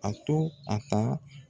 A to a ta